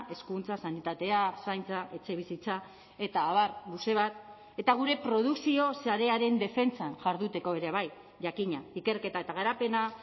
hezkuntza sanitatea zaintza etxebizitza eta abar luze bat eta gure produkzio sarearen defentsan jarduteko ere bai jakina ikerketa eta garapena